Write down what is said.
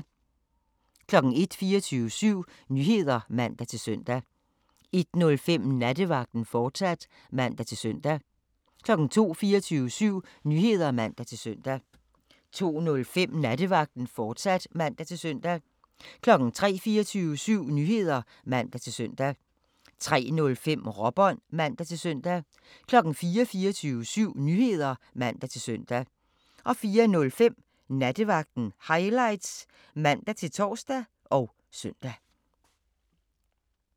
01:00: 24syv Nyheder (man-søn) 01:05: Nattevagten, fortsat (man-søn) 02:00: 24syv Nyheder (man-søn) 02:05: Nattevagten, fortsat (man-søn) 03:00: 24syv Nyheder (man-søn) 03:05: Råbånd (man-søn) 04:00: 24syv Nyheder (man-søn) 04:05: Nattevagten Highlights (man-tor og søn)